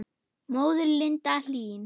Móðir Linda Hlín.